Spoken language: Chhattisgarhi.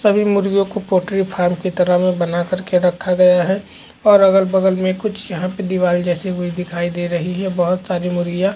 सभी मुर्गियों को पोल्ट्री फार्म की तरह में बना कर के रखा गया है और अगल-बगल में कुछ यहाँ पर दीवाल जैसा भी दिखाई दे रही है बहोत सारी मुर्गिया--